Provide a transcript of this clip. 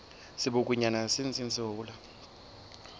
sebokonyana se ntseng se hola